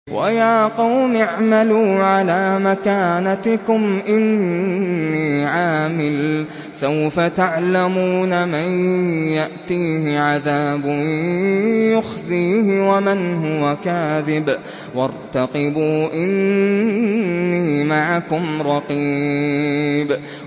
وَيَا قَوْمِ اعْمَلُوا عَلَىٰ مَكَانَتِكُمْ إِنِّي عَامِلٌ ۖ سَوْفَ تَعْلَمُونَ مَن يَأْتِيهِ عَذَابٌ يُخْزِيهِ وَمَنْ هُوَ كَاذِبٌ ۖ وَارْتَقِبُوا إِنِّي مَعَكُمْ رَقِيبٌ